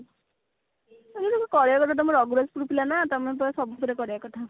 ହଁ କରିବା କଥା ତମ ରଘୁରାଜପୁର ପିଲା ନାଁ ତମକୁ ତ ସବୁଥିରେ କରିବା କଥା